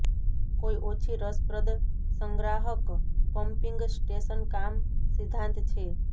કોઈ ઓછી રસપ્રદ સંગ્રાહક પંપીંગ સ્ટેશન કામ સિદ્ધાંત છે